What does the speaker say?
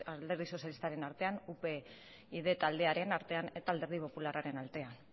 alderdi sozialistaren artean upyd taldearen artean eta alderdi popularraren artean